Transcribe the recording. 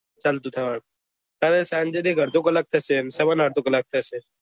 તારે સાંજે દેખ અર્ધો કલાક થશે અને સવાર ના અર્ધો થશે